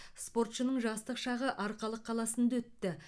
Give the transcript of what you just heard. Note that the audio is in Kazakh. спортшының жастық шағы арқалық қаласында өтті